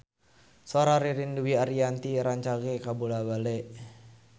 Sora Ririn Dwi Ariyanti rancage kabula-bale